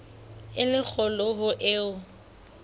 e le kgolo ho eo